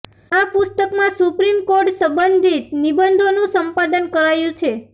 આ પુસ્તકમાં supreme court સંબંધિત નિબંધોનું સંપાદન કરાયું છે